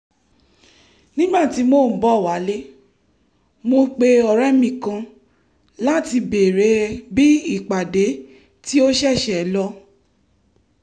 nígbà tí mò ń bọ̀ wálé mo pe ọ̀rẹ́ mi kan láti béèrè bí ìpàdé tí ó ṣeṣe lọ